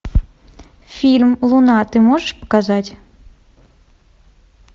фильм луна ты можешь показать